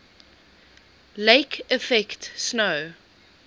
lake effect snow